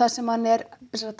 þar sem hann